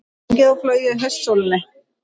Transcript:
Gengið og flogið í haustsólinni